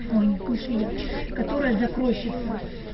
ой нет не швея которая закройщица